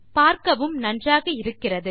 பார்க்கவும் நன்றாக இருக்கிறது